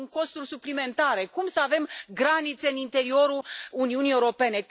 Sunt costuri suplimentare. Cum să avem granițe în interiorul Uniunii Europene?